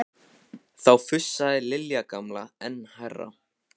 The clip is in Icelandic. Þá fussaði Lilja gamla enn hærra.